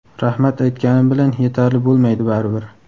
rahmat aytganim bilan yetarli bo‘lmaydi baribir.